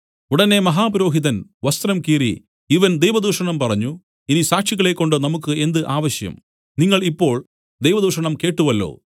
ഉടനെ മഹാപുരോഹിതൻ വസ്ത്രം കീറി ഇവൻ ദൈവദൂഷണം പറഞ്ഞു ഇനി സാക്ഷികളെക്കൊണ്ട് നമുക്കു എന്ത് ആവശ്യം നിങ്ങൾ ഇപ്പോൾ ദൈവദൂഷണം കേട്ടുവല്ലോ